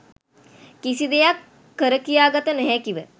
කිසිදෙයක් කරකියා ගත නොහැකිව